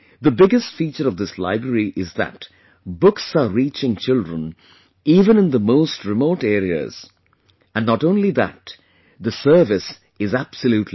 The biggest feature of this library is that books are reaching children even in the most remote areas and not only this, the service is absolutely free